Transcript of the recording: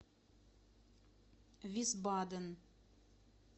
висбаден